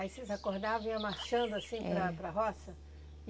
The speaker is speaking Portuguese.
Aí vocês acordavam e iam marchando assim para a para a roça?